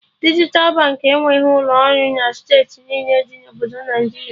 Dijital Baankị enweghị ụlọ ọrụ na steeti niile dị na Obodo Naịjiria